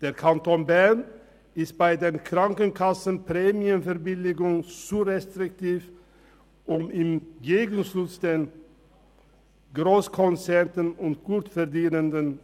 Der Kanton Bern ist bei den Krankenkassenprämienverbilligungen zu restriktiv und macht im Gegenzug Steuergeschenke an Grosskonzerne und Gutverdienende.